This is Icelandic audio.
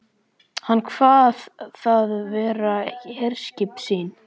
Hann kvað það vera herskip sín.